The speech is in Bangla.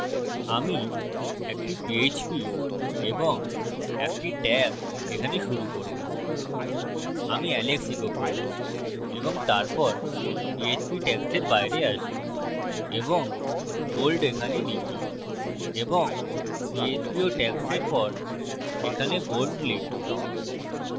আমি একটি পীএচপী এবং একটি tag এখানে শুরু করবো আমি alex echo করি এবং তারপর পীএচপী tags এর বাইরে আসি এবং bold এখানে লিখি এবং php ও tags এর পর এখানে bold লিখি